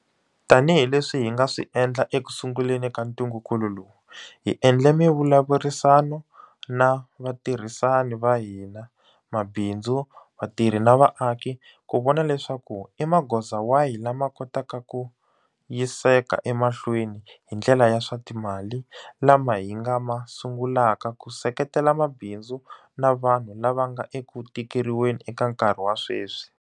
Tanihi leswi hi nga swi endla ekusunguleni ka ntungukulu lowu, hi endle mivulavurisano na vatirhisani va hina, mabindzu, vatirhi na vaaki ku vona leswaku i magoza wahi lama kotaka ku yiseka emahlweni hi ndlela ya swa timali lama hi nga ma sungulaka ku seketela mabindzu na vanhu lava nga eku tikeriweni eka nkarhi wa sweswi.